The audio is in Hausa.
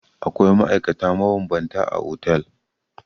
Akwai ma'aikata mabambanta a otel.